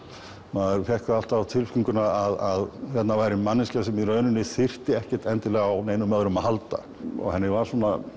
maður fékk það alltaf á tilfinninguna að hérna væri manneskja sem í rauninni þyrfti ekkert endilega á neinum öðrum að halda og henni var